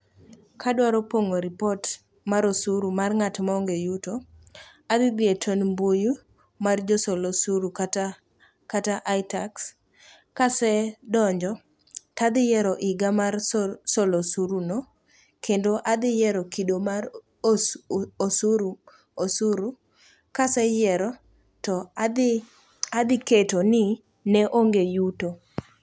Kadwaro pong'o ripot mar osuru mar ng'at maonge yuto adhi dhiye tond mbuyu mar josol osuru kata itax. Kasedonjo tadhiyiero higa mar solo osuruno kendo adhiyiero kido mar osuru, kaseyiero to adhiketo ni ne onge yuto.